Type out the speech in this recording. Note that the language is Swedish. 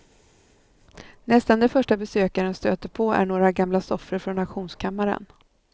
Nästan det första besökaren stöter på är några gamla soffor från auktionskammaren.